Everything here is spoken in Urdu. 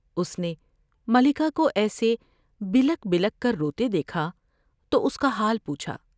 اس نے ملکہ کو ایسے بلک بلک کر روتے دیکھا تو اس کا حال پوچھا ۔